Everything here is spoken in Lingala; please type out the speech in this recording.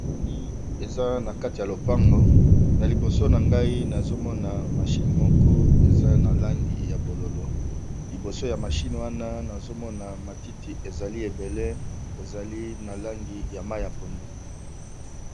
Tomoni eza na kati ya lopango nalibo nangai nazomona machine moko eza na langi ya bonzinga liboso nayango matiti ebele eza na langi ya pondu.